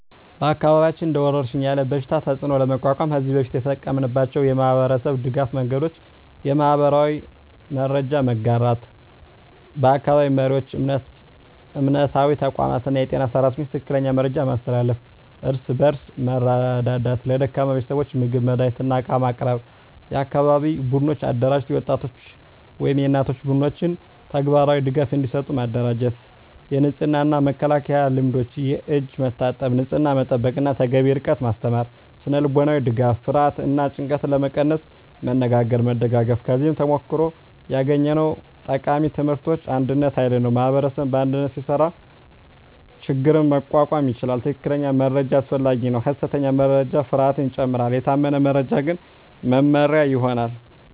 በአካባቢያችን እንደ ወረሽኝ ያለ በሽታ ተፅዕኖ ለመቋቋም ከዚህ በፊት የተጠቀምናቸው የማህበረሰብ ድገፍ መንገዶች :- የማህበራዊ መረጃ መጋራት በአካባቢ መሪዎች፣ እምነታዊ ተቋማት እና የጤና ሰራተኞች ትክክለኛ መረጃ ማስተላለፍ። እርስ በእርስ መርዳት ለደካማ ቤተሰቦች ምግብ፣ መድሃኒት እና ዕቃ ማቅረብ። የአካባቢ ቡድኖች አደራጀት የወጣቶች ወይም የእናቶች ቡድኖች ተግባራዊ ድጋፍ እንዲሰጡ ማደራጀት። የንጽህና እና መከላከያ ልምዶች የእጅ መታጠብ፣ ንጽህና መጠበቅ እና ተገቢ ርቀት ማስተማር። ስነ-ልቦናዊ ድጋፍ ፍርሃትን እና ጭንቀትን ለመቀነስ መነጋገርና መደጋገፍ። ከዚህ ተሞክሮ ያገኘነው ቃሚ ትምህርቶች አንድነት ኃይል ነው ማኅበረሰብ በአንድነት ሲሰራ ችግኝ መቋቋም ይቻላል። ትክክለኛ መረጃ አስፈላጊ ነው ሐሰተኛ ወሬ ፍርሃትን ይጨምራል፤ የታመነ መረጃ ግን መመሪያ ይሆናል።